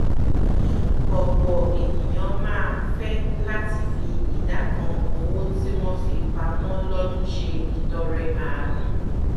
ọ̀pọ̀ ènìyàn máá fẹ́ láti fi ìdá kan owó tí wọn fi pamọ́ lọ́dún se ìtọrẹ àánú